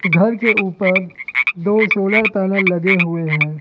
घर के ऊपर दो सोलर पैनल लगे हुए हैं।